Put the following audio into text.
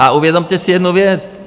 A uvědomte si jednu věc.